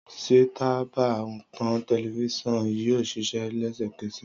Sè tàbá ton tẹlìvision yio sìsẹ lẹsẹkẹsẹ